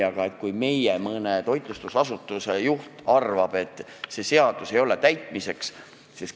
Aga meil mõne toitlustusasutuse juht arvab, et see seadus ei ole täitmiseks.